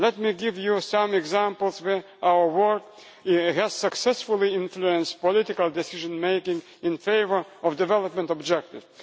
Let me give you some examples of where our work has successfully influenced political decision making in favour of development objectives.